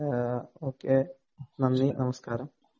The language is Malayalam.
ആ, ഒകെ, നന്ദി, നമസ്കാരം.